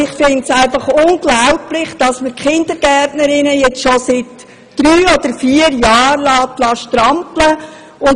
Ich finde es unglaublich, dass sich die Kindergärtnerinnen jetzt schon seit drei oder vier Jahren derart abstrampeln müssen.